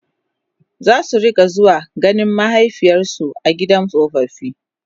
zasu rinka zuwa ganin mahaifiyarsu a gidan tsofaffi